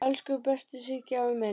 Elsku besti Siggi afi minn.